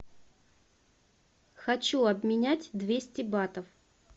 хочу обменять двести батов